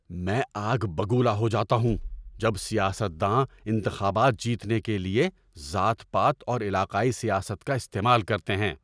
میں آگ ببولا ہو جاتا ہوں جب سیاست داں انتخابات جیتنے کے لیے ذات پات اور علاقائی سیاست کا استعمال کرتے ہیں۔